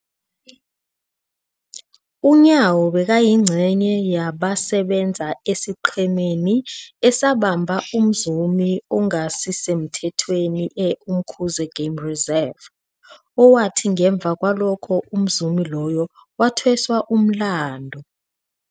UNyawo bekayingcenye yabasebenza esiqhemeni esabamba umzumi ongasisemthethweni e-Umkhuze Game Reserve, owathi ngemva kwalokho umzumi loyo wathweswa umlandu.